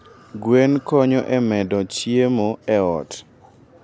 Gweno konyo e medo chiemo e ot.